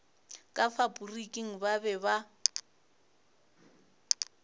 ka faporiking ba be ba